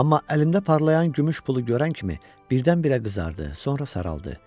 Amma əlində parlayan gümüş pulu görən kimi birdən-birə qızardı, sonra saraldı.